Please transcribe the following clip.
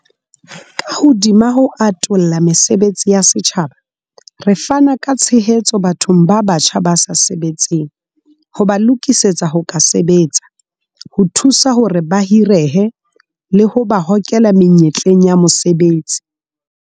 Ka hodima ho atolla mesebetsi ya setjhaba, re fana ka tshehetso bathong ba batjha ba sa sebetseng ho ba lokisetsa ho ka sebetsa, ho thusa hore ba hirehe, le ho ba hokela menyetleng ya mosebetsi.